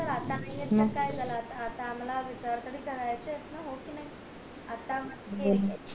च तर आता नाहीये त काय झालं आता आम्हला विचार तरी करायचंय च ये ना